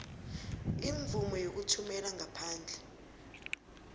imvumo yokuthumela ngaphandle